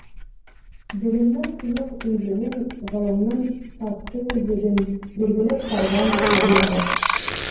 білімнің тұнық өзенін ғылымның татты өзегін белгілі қарғам сезерің